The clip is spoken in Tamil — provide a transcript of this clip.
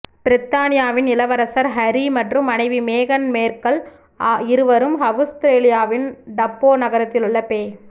பிரித்தானியாவின் இளவரசர் ஹரி மற்றும் மனைவி மேகன் மேர்கல் இருவரும் அவுஸ்ரேலியாவின் டப்போ நகரிலுள்ள பெ